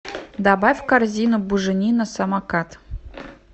добавь в корзину буженина самокат